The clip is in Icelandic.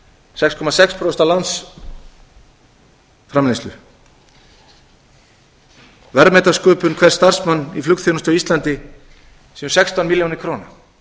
sex komma sex prósent af landsframleiðslu verðmætasköpun hvers starfsmanns í flugþjónustu á íslandi séu sextán milljónir króna